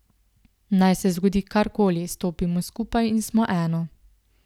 Naj se zgodi karkoli, stopimo skupaj in smo eno.